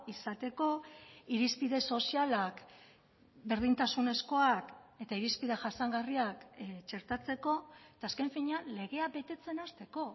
izateko irizpide sozialak berdintasunezkoak eta irizpide jasangarriak txertatzeko eta azken finean legea betetzen hasteko